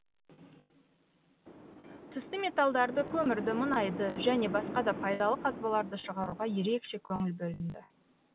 түсті металдарды көмірді мұнайды және басқа да пайдалы қазбаларды шығаруға ерекше көңіл бөлінді